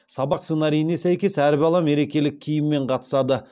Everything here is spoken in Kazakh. сабақ сценарийіне сәйкес әр бала мерекелік киіммен қатысады